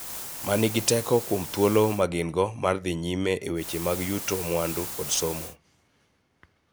Ma nigi teko kuom thuolo ma gin-go mar dhi nyime e weche mag yuto mwandu kod somo.